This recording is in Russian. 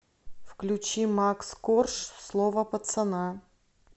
включи макс корж слово пацана